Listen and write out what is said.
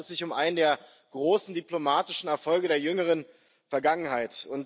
Dabei handelt es sich um einen der großen diplomatischen Erfolge der jüngeren Vergangenheit.